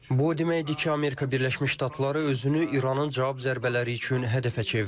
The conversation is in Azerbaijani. Bu o deməkdir ki, Amerika Birləşmiş Ştatları özünü İranın cavab zərbələri üçün hədəfə çevirib.